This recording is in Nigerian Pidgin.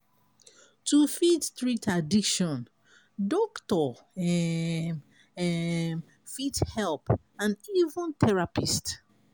to fit treat addiction doctor um um fit help and even therapist